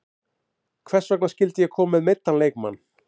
Hvers vegna skyldi ég koma með meiddan leikmann?